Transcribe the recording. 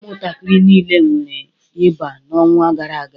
Ụmụntakịrị niile nwere ịba n'ọnwa gara aga